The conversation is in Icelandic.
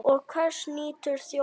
Og hvers nýtur þjóðin?